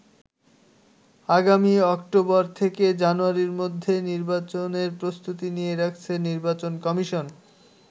আগামী অক্টোবর থেকে জানুয়ারির মধ্যে নির্বাচনের প্রস্তুতি নিয়ে রাখছে নির্বাচন কমিশন।